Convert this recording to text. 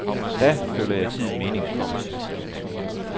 Da føler jeg tiden meningsfuld.